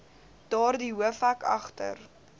daardie hoofhek agter